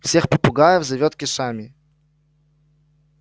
всех попугаев зовут кешами